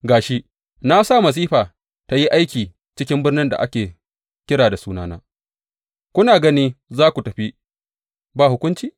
Ga shi, na sa masifa tă yi aiki cikin birnin da ake kira da sunana, kuna gani za ku tafi ba hukunci?